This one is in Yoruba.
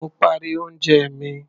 Mo parí oúnjẹ mi.